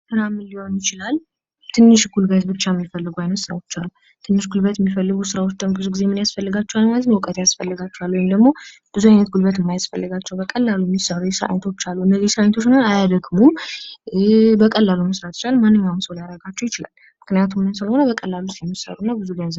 ስራ ምን ሊሆን ይችላል ትንሽ ጉልበት ብቻ የሚፈልጉ አይነት ስራዎች አሉ። ትንሽ ጉልበት የሚፈልጉ ስራዎች ደሞ ብዙ ጊዜ ምን ያስፈልጋቸዋል ማለት ነው? እውቀት ያስፈልጋቸዋል። ወይም ደግሞ ብዙ አይነት ጉልበት የማያስፈልጋቸው በቀላሉ የሚሰሩ ስራዎች አሉ እነዚህ የስራ አይነቶች ደግሞ አያደክሙም በቀላሉ መስራት ይቻላል ማንኛውም ሰው ሊያረካቸው ይቻላል ምክንያቱም መንስለሆነ? በቀላሉ ስለሚሰሩ እና ብዙ ገንዘብ..